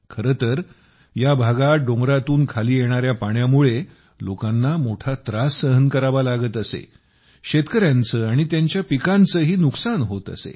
खरे तर या भागात डोंगरातून खाली येणाऱ्या पाण्यामुळे लोकांना मोठा त्रास सहन करावा लागत असे शेतकऱ्यांचे आणि त्यांच्या पिकांचेही नुकसान होत असे